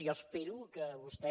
jo espero que vostè